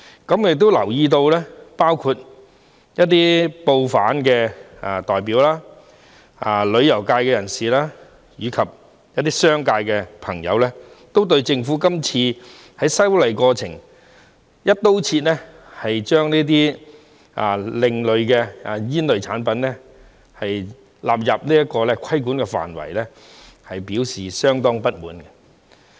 我亦留意到包括一些報販代表、旅遊界人士，以及商界朋友均對政府今次在修例過程中，"一刀切"將這些另類吸煙產品納入規管範圍，表示相當不滿。